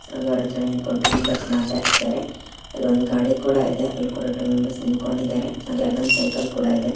ಹಲವಾರು ಜನ ನಿಂತ್ಕೊಂಡು ಮೆಂಬರ್ಸ್ ಮಾತಾಡ್ತಾ ಇದ್ದಾರೆ ಇಲ್ಲೊಂದ್ ಗಾಡಿ ಕೂಡ ಇದೆ ಅಲ್ಲೂ ಕೂಡ ಟು ಮೆಂಬರ್ಸ್ ನಿಂತಿದ್ದಾರೆ ಹಾಗೆ ಒಂದು ಸೈಕಲ್ ಕೂಡ ಇದೆ.